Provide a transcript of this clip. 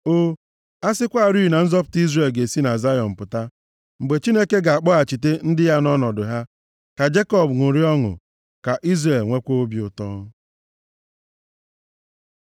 O, a sịkwarị na nzọpụta Izrel ga-esi na Zayọn pụta! Mgbe Chineke ga-akpọghachite ndị ya nʼọnọdụ ha, ka Jekọb ṅụrịa ọṅụ, ka Izrel nwekwaa obi ụtọ!